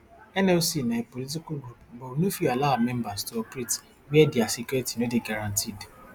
nlc na apolitical group but we no fit allow our members to operate wia dia security no dey guaranteed